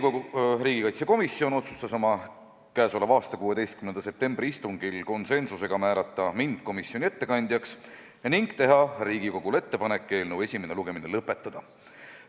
Riigikaitsekomisjon otsustas oma k.a 16. septembri istungil konsensusega määrata mind komisjoni ettekandjaks ning teha Riigikogule ettepaneku eelnõu esimene lugemine lõpetada.